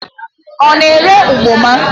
Ọ na-ere ụgbọma?